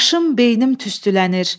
Başım, beynim tüstülənir.